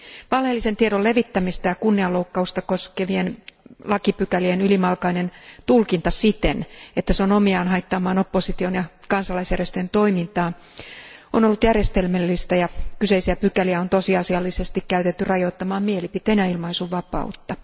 Valheellisen tiedon levittämistä ja kunnianloukkausta koskevien lakipykälien ylimalkainen tulkinta siten, että se on omiaan haittaamaan opposition ja kansalaisjärjestöjen toimintaa, on ollut järjestelmällistä ja kyseisiä pykäliä on tosiasiallisesti käytetty rajoittamaan mielipiteen ja ilmaisunvapautta.